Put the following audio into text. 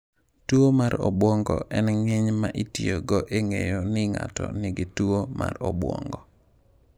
Tuwo mar obwongo en nying’ ma itiyogo e ng’eyo ni ng’ato nigi tuwo mar obwongo.